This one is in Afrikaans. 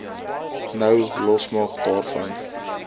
nou losmaak daarvan